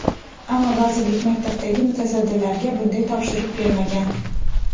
Ammo vazirlik maktabdagi mutasaddilarga bunday topshiriq bermagan.